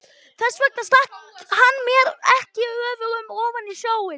Þess vegna stakk hann mér ekki öfugum ofan í snjóinn.